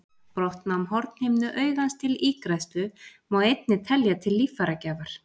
Brottnám hornhimnu augans til ígræðslu má einnig telja til líffæragjafar.